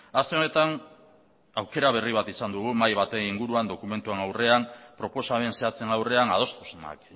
aste honetan aukera berri bat izan dugu mahai baten inguruan dokumentuen aurrean proposamen zehatzen aurrean adostasunak